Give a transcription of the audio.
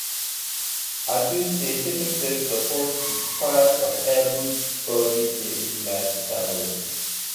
i feel say taking breaks suppose be part of everybody daily lifestyle routine.